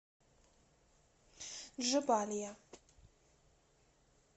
джебалия